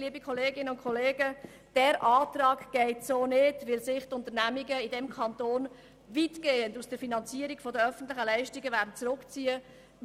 Liebe Kolleginnen und Kollegen, dieser Antrag geht so nicht, weil sich die Unternehmungen in diesem Kanton weitgehend aus der Finanzierung der öffentlichen Leistungen zurückziehen werden.